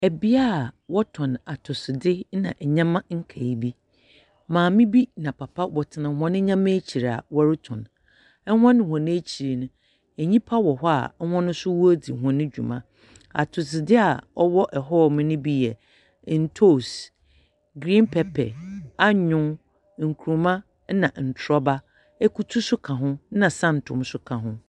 Bea a wɔtɔn atɔsodze ne nyeɛma nkae bi. Maame bi na papa wɔtsena hɔn nyeɛma ekyir a wɔrotɔn. Hɔn hɔn ekyir no, nyipa wɔ hɔ a hɔn nso woridzi hɔn dwuma. Atosodze a ɔwɔ hɔnom no bi yɛ, ntoos, green pepper, anyow, nkuruma na ntorɔba. Ekutu nso ka ho, ɛnna santom nso ka ho.